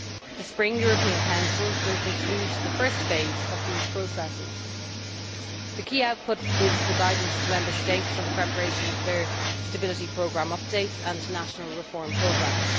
The Spring European Council will conclude the first phase of these processes. The key output is the guidance to Member States on the preparation of their Stability Programme Updates and National Reform Programmes.